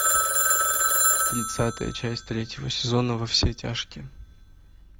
тридцатая часть третьего сезона во все тяжкие